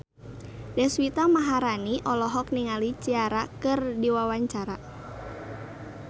Deswita Maharani olohok ningali Ciara keur diwawancara